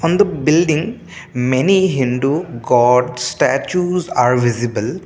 on the building many hindu god statues are visible.